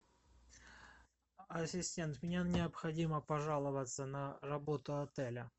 ассистент мне необходимо пожаловаться на работу отеля